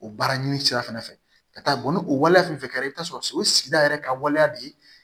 O baara ɲini sira fɛnɛ fɛ ka taa bɔn ni o waleya fɛn fɛn kɛra i bɛ t'a sɔrɔ o ye sigida yɛrɛ ka waleya de ye